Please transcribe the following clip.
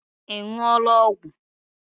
Ị ṅụọla ọgwụ?